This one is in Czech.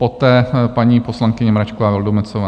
Poté paní poslankyně Mračková Vildumetzová.